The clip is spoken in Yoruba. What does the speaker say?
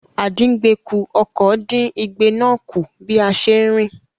Àdíngbekù-ọkọ̀ dín igbe náà kù bí a ṣe ń rìn.